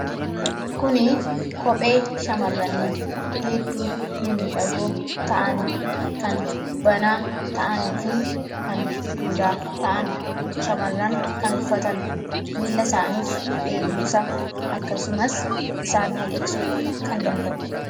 Kuni kophee shamaranii mimidhagoo ta'aan kan banaa ta'anifi kan duudaa ta'aan shamaraan kan uffatan. Millaa isaaniif eeguumsaa akksumaas isaan midheksuu kan danda'u.